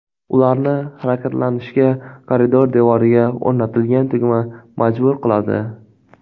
Ularni harakatlanishga koridor devoriga o‘rnatilgan tugma majbur qiladi.